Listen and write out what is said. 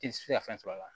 I tɛ se ka fɛn sɔrɔ a la